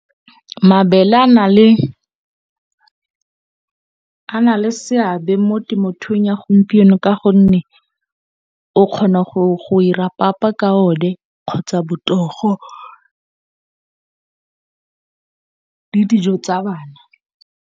Mabele a na le seabe mo temothuong ya gompieno ka gonne, o kgona go ira papa ka one kgotsa motogo le dijo tsa bana.